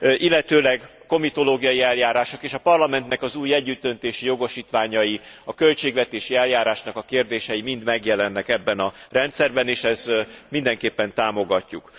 illetőleg komitológiai eljárások és a parlamentek az új együttdöntési jogosítványai, a költségvetési eljárásnak a kérdései mind megjelennek ebben a rendszerben és ezt mindenképpen támogatjuk.